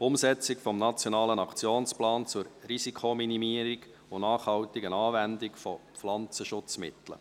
«Umsetzung des Nationalen Aktionsplans zur Risikominimierung und nachhaltigen Anwendung von Pflanzenschutzmitteln».